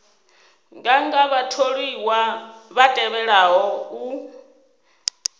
nganga vhatholiwa vha tevhelaho u